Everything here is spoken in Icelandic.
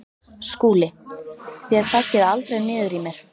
SKÚLI: Þér þaggið aldrei niður í mér.